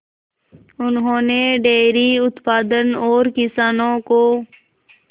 उन्होंने डेयरी उत्पादन और किसानों को